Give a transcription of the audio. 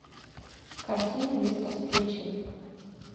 картина место встречи